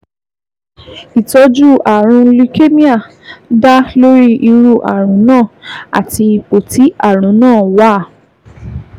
Ìtọ́jú ààrùn leukemia dá lórí irú ààrùn náà àti ipò tí ààrùn náà wà